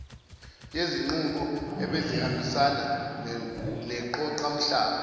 yezinqubo ebezihambisana neqoqamhlaba